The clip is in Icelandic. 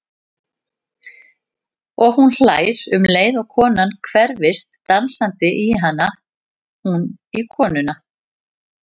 Og hún hlær um leið og konan hverfist dansandi í hana, hún í konuna.